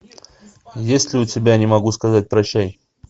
есть ли у тебя не могу сказать прощай